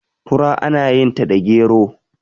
fura ana yinta da gero